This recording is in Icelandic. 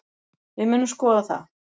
Við munum skoða það.